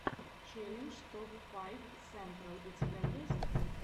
челлендж топ файв сентрал у тебя есть